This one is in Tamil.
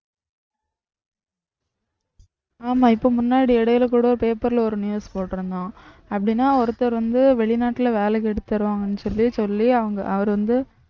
ஆமா இப்ப முன்னாடி இடையில கூட paper ல ஒரு news போட்டிருந்தான் அப்படின்னா ஒருத்தர் வந்து வெளிநாட்டுல வேலைக்கு எடுத்து தருவாங்கன்னு சொல்லி சொல்லி அவங்க அவர் வந்து